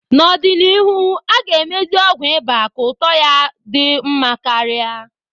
N'ọdịnihu, a ga-emezi ọgwụ ịba ka ụtọ ya di nma karia.